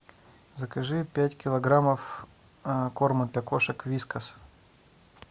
закажи пять килограммов корма для кошек вискас